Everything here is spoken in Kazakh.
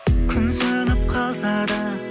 күн сөніп қалса да